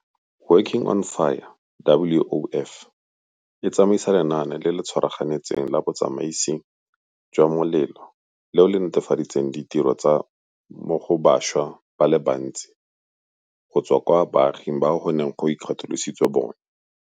Working on Fire, WOF, e tsamaisa lenaane le le tshwaraganetsweng la botsamaisi jwa molelo leo le nete faditseng ditiro go bašwa ba le bantsi go tswa kwa baaging bao go neng go ikgatolositswe bone.